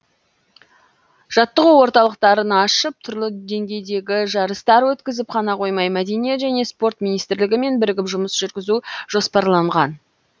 жаттығу орталықтарын ашып түрлі деңгейдегі жарыстар өткізіп қана қоймай мәдениет және спорт министрлігімен бірігіп жұмыс жүргізу жоспарланған